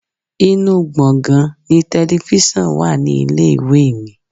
Inú gbongan ni telifísàn wà ní ilé-ìwé mi.